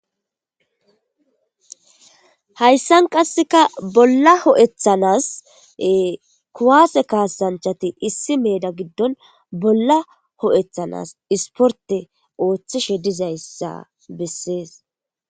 hayssan qasseka bolla ho7ethanas kuwaase kaasanchati issi meeda giddon bolla ho7ethanas isporte ooththishe dizayssa bessees